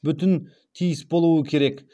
бүтін тиіс болуы керек